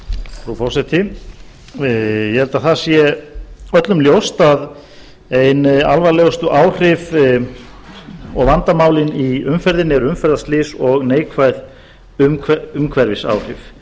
frú forseti ég held að það sé öllum ljóst að ein alvarlegustu áhrif og vandamálin í umferðinni eru umferðarslys og neikvæð umhverfisáhrif